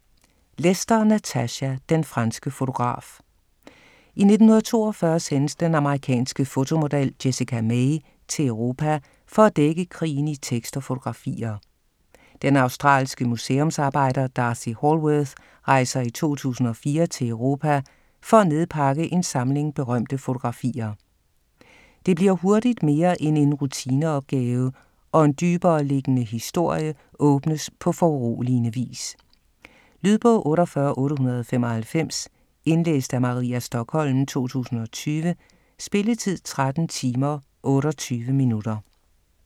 Lester, Natasha: Den franske fotograf I 1942 sendes den amerikanske fotomodel Jessica May til Europa for at dække krigen i tekst og fotografier. Den australske museumsarbejder D'Arcy Hallworth rejser i 2004 til Europa for at nedpakke en samling berømte fotografier. Det bliver hurtigt mere end en rutineopgave, og en dybereliggende historie åbnes på foruroligende vis. Lydbog 48895 Indlæst af Maria Stokholm, 2020. Spilletid: 13 timer, 28 minutter.